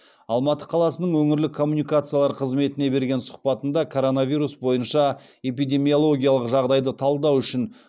алматы қаласының өңірлік коммуникациялар қызметіне берген сұхбатында коронавирус бойынша эпидемиологиялық жағдайды талдау үшін